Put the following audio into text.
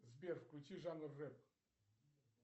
сбер включи жанр рэп